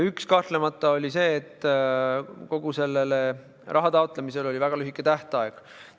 Üks oli kahtlemata see, et selle raha taotlemisel oli väga lühike tähtaeg.